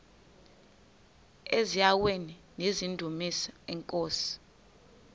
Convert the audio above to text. eziaweni nizidumis iinkosi